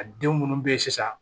A den munnu be yen sisan